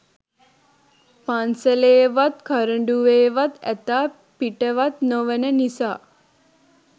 පන්සලේවත් කරඩුවෙවත් ඇතා පිටවත් නොවන නිසා.